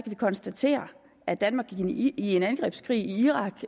vi konstatere at danmark deltog i en angrebskrig i irak